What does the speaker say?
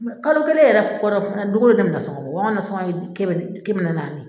Mɛ kalo kelen yɛrɛ kɔnɔ don go don ne bɛ nasɔngɔ bɔ wa an ka nasɔngɔ ye kɛmɛ kɛmɛ naani naani